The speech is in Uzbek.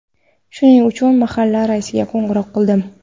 Shuning uchun mahalla raisiga qo‘ng‘iroq qildim.